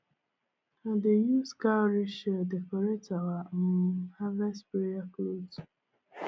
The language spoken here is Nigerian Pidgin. i dey use cowrie shell decorate our um harvest prayer cloth